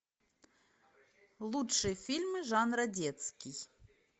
лучшие фильмы жанра детский